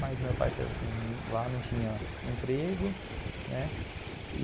Mas meu pai saiu sem, lá não tinha emprego, né?